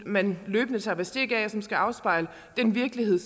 man løbende tager bestik af det skal afspejle den virkelighed